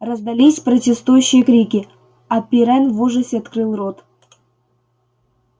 раздались протестующие крики а пиренн в ужасе открыл рот